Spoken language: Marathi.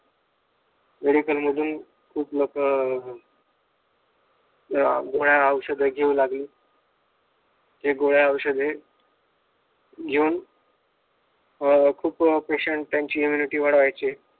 मेडिकल मधून खूप लोक अं अं गोळ्या औषध घेऊ लागली हे गोळ्या औषधे घेऊन अं खूप पेशेंट त्यांची इम्युनिटी वाढवायचे.